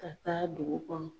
Ka taa dugu kɔnɔ.